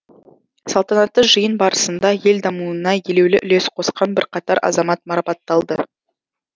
салтанатты жиын барысында ел дамуына елеулі үлес қосқан бірқатар азамат марапатталды